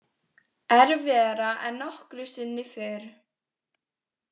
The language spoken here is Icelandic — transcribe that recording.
Erfiðara en nokkru sinni fyrr.